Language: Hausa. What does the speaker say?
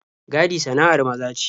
Gadi sana'ar maza ce.